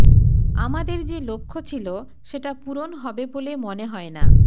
আমাদের যে লক্ষ্যছিল সেটা পুরণ হবে বলে মনে হয় না